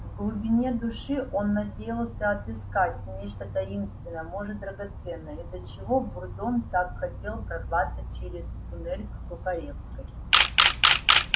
в глубине души он надеялся отыскать нечто таинственное может драгоценное из-за чего бурбон так хотел прорваться через туннель к сухаревской